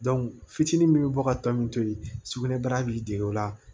fitinin min bɛ bɔ ka tɔn min to yen sugunɛbara b'i dege o la